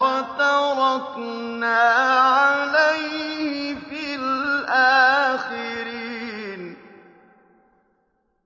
وَتَرَكْنَا عَلَيْهِ فِي الْآخِرِينَ